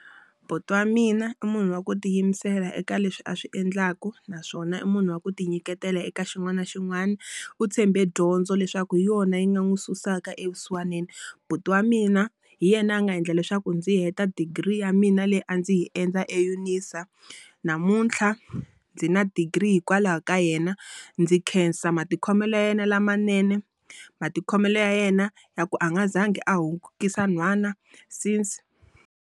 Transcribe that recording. Buti wa mina i munhu wa ku tiyimisela eka leswi a swi endlaku naswona i munhu wa ku ti nyiketela eka xin'wana na xin'wana. U tshembe dyondzo leswaku hi yona yi nga n'wi susaka evusiwanini. Buti wa mina hi yena a nga endla leswaku ndzi yi heta degree ya mina leyi a ndzi hi endla eUNISA. Namuntlha ndzi na degree hikwalaho ka yena. Ndzi khensa matikhomelo ya yena lamanene. Matikhomelo ya yena ya ku a nga zangi a hungukisa nhwana since.